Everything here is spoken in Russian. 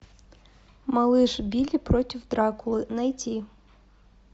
малыш билли против дракулы найти